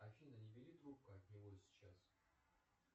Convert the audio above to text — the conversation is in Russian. афина не бери трубку от него сейчас